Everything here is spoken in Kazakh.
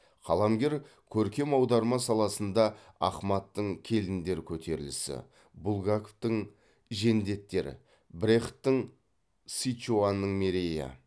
қаламгер көркем аударма саласында ахмадтың келіндер көтерілісі булгаковтың жендеттер брехттің сычуанның мерейі